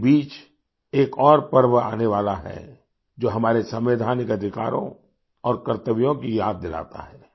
इसी बीच एक और पर्व आने वाला है जो हमारे संवैधानिक अधिकारों और कर्तव्यों की याद दिलाता है